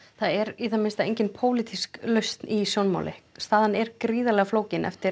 það er í það minnsta engin pólitísk lausn í sjónmáli staðan er gríðarlega flókin eftir